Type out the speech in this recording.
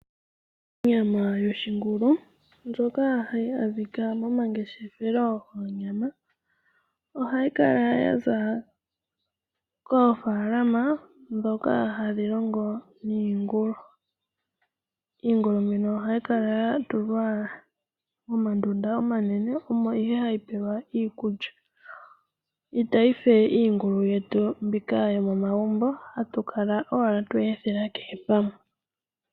Onyama yoshingulu ndjoka hayi adhika momangeshefelo goonyama, ohayi kala ya za koofaalama ndhoka hadhi munu iingulu. Iingulu mbika ohayi kala ya tulwa momandunda omanene, omo nduno hayi pelwa iikulya. Itayi fe iingulu yetu mbika yomomagumbo mbyoka hatu kala owala twe yi ethela kehe pamwe.